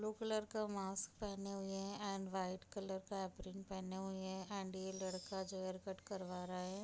Blue colour का mask पहना हुआ हैं एंड वाइट कलर का एप्रेन पहना हुआ हैं एंड ये लड़का जो हैं हेयर कट करवा रहा हैं।